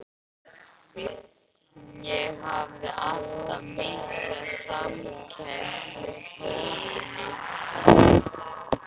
Ég hafði alltaf mikla samkennd með tófunni.